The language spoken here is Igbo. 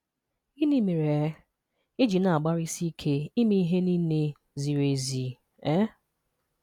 Gịnị mere um ị ji na-agbarisịke ịme ịhe niile ziri ezi? um